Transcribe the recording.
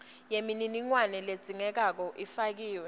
yemininingwane ledzingekako ifakiwe